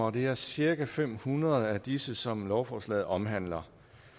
og det er cirka fem hundrede af disse som lovforslaget omhandler